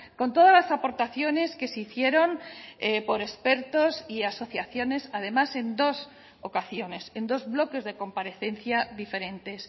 con todas las aportaciones que se hicieron por expertos y asociaciones además en dos ocasiones en dos bloques de comparecencia diferentes